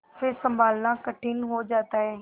फिर सँभलना कठिन हो जाता है